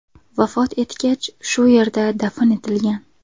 Vafot etgach, shu yerda dafn etilgan.